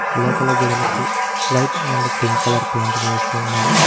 లోపల గోడలకి white and pink colour paint వేసి ఉన్నది.